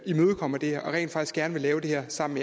imødekommer det her og rent faktisk gerne vil lave det her sammen